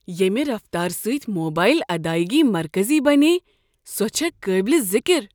ییٚمہ رفتارٕ سۭتۍ موبایل ادایگی مرکزی بنییہ، سۄ چھےٚ قٲبلہ ذکر۔